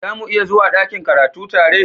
Za muniya zuwa dakin karatu tare?